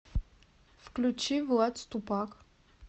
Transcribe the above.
включи влад ступак